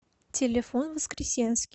телефон воскресенский